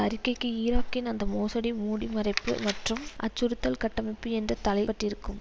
அறிக்கைக்கு ஈராக்கின் அதன் மோசடி மூடிமறைப்பு மற்றும் அச்சுறுத்தல் கட்டமைப்பு என்ற தலை பட்டிருக்கும்